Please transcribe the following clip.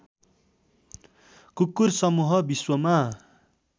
कुकुर समूह विश्वमा